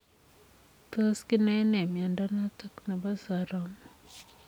Tos kinae nee miondoo notok neboo soromok ?